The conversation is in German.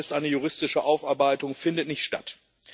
eine juristische Aufarbeitung findet nicht statt.